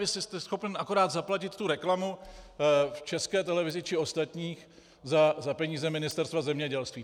Vy jste schopen akorát zaplatit tu reklamu v České televizi či ostatních za peníze Ministerstva zemědělství.